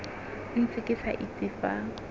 ntse ke sa itse fa